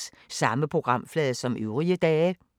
Samme programflade som øvrige dage